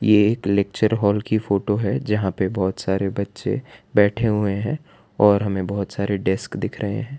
ये एक lecture hall की फोटो है जहां पे बहोत सारे बच्चे बैठे हुए हैं और हमें बहोत सारे डेस्क दिख रहे हैं।